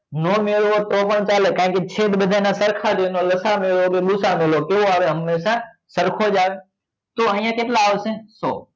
નો મેળવો તો પણ ચાલે કારણ કે છેદ બધા ના સરખા જ હોય ને લસા નો લો કે ગુ સા અ નો લો હમેશા સરખો જ આવે તો અહિયાં કેટલા આવશે સો